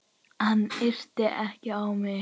Hann yrti ekki á mig.